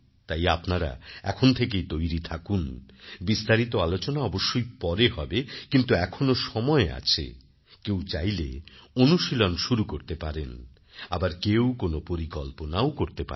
তাই আপনারা এখন থেকেই তৈরি থাকুন বিস্তারিত আলোচনা অবশ্যই পরে হবে কিন্তু এখনও সময় আছে কেউ চাইলে অনুশীলন শুরু করতে পারেন আবার কেউ কোনও পরিকল্পনাও করতে পারেন